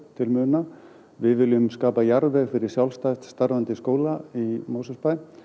til muna við viljum skapa jarðveg fyrir sjálfstætt starfandi skóla í Mosfellsbæ